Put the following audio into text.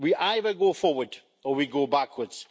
We either go forward or we go backwards.